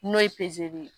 N'o ye ye